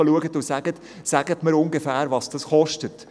«Sagen Sie mir, was dies ungefähr kostet.